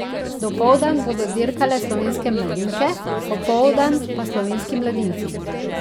Dopoldan bodo dirkale slovenske mladinke, popoldan pa slovenski mladinci.